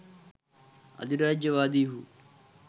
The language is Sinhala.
අධිරාජ්‍යවාදීහු